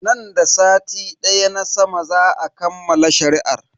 Nan da sati na sama za a kammala shari'ar.